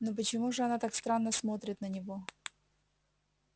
но почему же она так странно смотрит на него